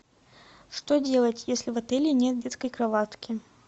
что делать если в отеле нет детской кроватки